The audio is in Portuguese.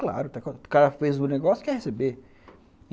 Claro, o cara fez o negócio, quer receber.